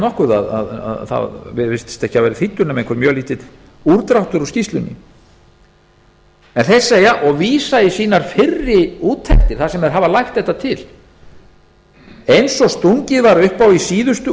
nokkuð að það virðist ekki hafa verið þýddur nema einhver mjög lítill útdráttur úr skýrslunni en þeir segja og vísa í sínar fyrri úttektir þar sem þeir hafa lagt þetta til eins og stungið var upp á í síðustu